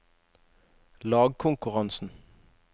lagkonkurransen